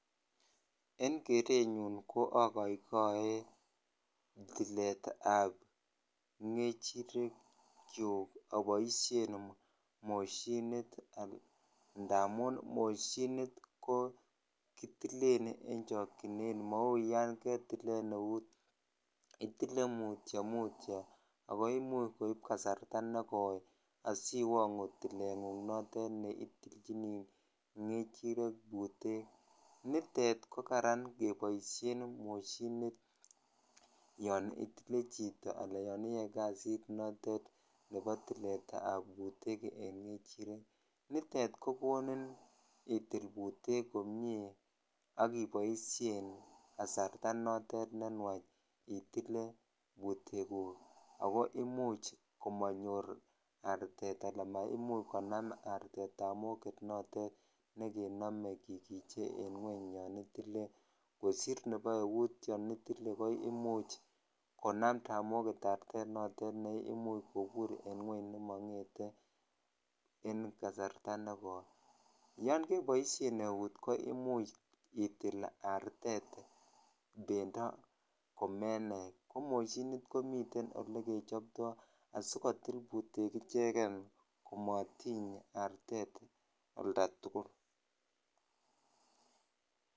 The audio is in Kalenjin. en kerenyunko akoikoe tiletab ngechirek kyuk aboishen moshinit ndamun moshinit ko kitilien en chokyinet mou yon ketilen eut itile mutio mutio ako imuch koib kasarta nekoi asiwongu tilengung notet neitilchini ngechirek butek nitet kokaran keboishen moshinit yon itilet chito anan yoon iyoe kazit notet nepo tilet tab butek en ngechirek nitet kokonin itil butek komie ak iboishen kasarta nenwach itle butekuk ago imuch komonyor artet alan maimuch konam artet tamoget notok nekenome kikiche en ngweny yoon itile kosir nepo eut yoon itile komuch konam tamoget artet notet neimuch kobur en ngweny nemongete en kasarta nekoi yoon keboishen eut imuch itilit artet bendo komenai ko moshinit komiten ole kechopto asikotil butek echek komotiny artet olda tugul